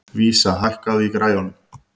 Vísa, hækkaðu í græjunum.